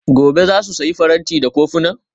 Gobe ​​za su sayi faranti da kofuna?